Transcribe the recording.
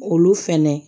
Olu fɛnɛ